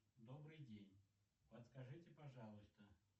добрый день подскажите пожалуйста